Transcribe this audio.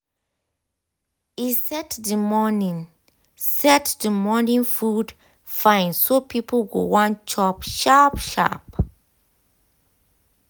e set the morning set the morning food fine so people go wan chop sharp sharp.